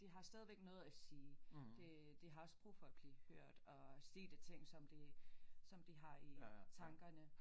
De har stadigvæk noget at sige det det har også brug for at blive hørt og sige de ting som de som de har i tankerne